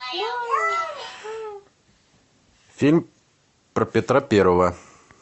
фильм про петра первого